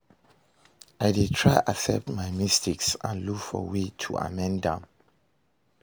I dey try accept my mistakes and look for way to amend am.